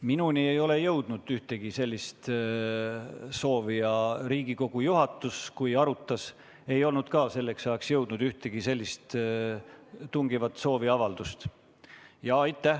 Minuni ei ole jõudnud ühtegi sellist soovi ja ka Riigikogu juhatusele, kui arutati, ei olnud selleks ajaks jõudnud ühtegi tungivat sooviavaldust.